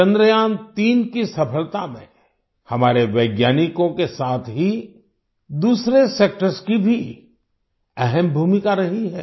चंद्रयान3 की सफलता में हमारे वैज्ञानिकों के साथ ही दूसरे सेक्टर्स की भी अहम भूमिका रही है